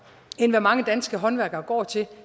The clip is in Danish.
end hvad mange danske håndværkere går til